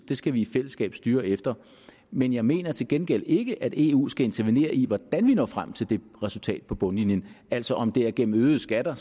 det skal vi i fællesskab styre efter men jeg mener til gengæld ikke at eu skal intervenere i hvordan vi når frem til det resultat på bundlinjen altså om det er gennem øgede skatter